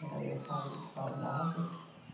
Brincadeira sau saudável.